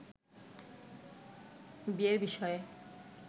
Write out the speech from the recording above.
বিয়ের বিষয়ে